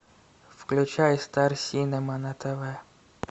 включай стар синема на тв